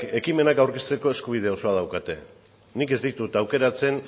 ekimenak aurkezteko eskubide osoa daukate nik ez ditut aukeratzen